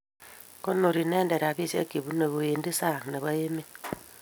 Konori inet rapisiek che pune kwendi sang nepo emet